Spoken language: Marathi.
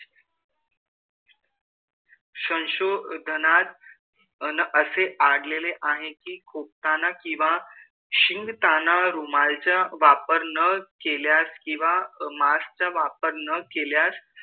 संशोधनात अन असे आढळलेले आहे कि खोकताना किंवा शिंकताना रुमालाचा वापर न केल्यास किंवा mask चा वापर न केल्यास,